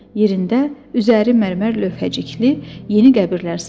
Yerində üzəri mərmər lövhəcikli yeni qəbirlər salınacaq.